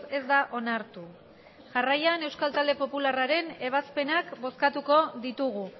ez da onartu jarraian euskal talde popularraren ebazpenak bozkatuko ditugu